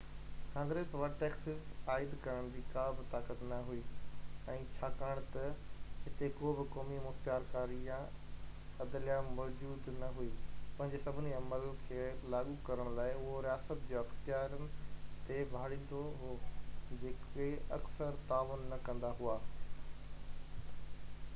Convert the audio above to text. Congress وٽ taxes عائد ڪرڻ جي ڪابه طاقت نه هئي ۽ ڇاڪاڻ ته هتي ڪو به قومي مختيارڪاري يا عدليه موجود نه هئي پنهنجي سڀني عملن کي لاڳو ڪرڻ لاءِ اهو رياست جي اختيارين تي ڀاڙيندو هو جيڪي اڪثر تعاون نه ڪندا هئا